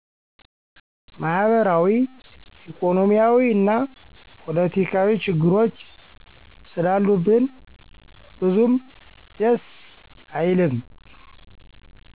ማህበራዊ፣ ኢኮኖሚያዊ እና ፖለቲካዊ ችግሮች ስላሉብን ብዙም ደስ አይልም።